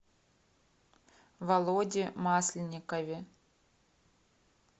володе масленникове